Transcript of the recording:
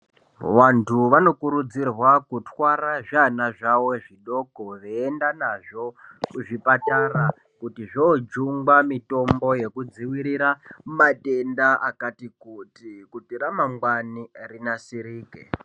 Wantu vanokurudzirwa kutwara zviana zvawo zvidoko veyienda nazvo kuzvipatara kuti zvojungwa mitombo yekudziwirira matenda akati kuti ,kuti ramangwani rinasirike.